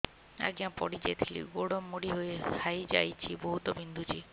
ଆଜ୍ଞା ପଡିଯାଇଥିଲି ଗୋଡ଼ ମୋଡ଼ି ହାଇଯାଇଛି ବହୁତ ବିନ୍ଧୁଛି